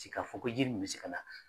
T'i ka fɔ ko ji nin bɛ se ka na